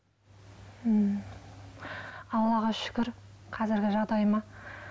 м аллаға шүкір қазіргі жағдайыма